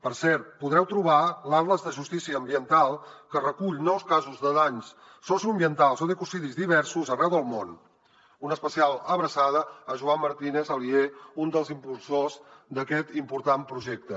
per cert podreu trobar l’atles de justícia ambiental que recull nous casos de danys socioambientals o d’ecocidis diversos arreu del món una especial abraçada a joan martínez alier un dels impulsors d’aquest important projecte